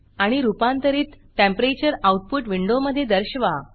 आणि रूपांतरित temperature output विंडोमधे दर्शवा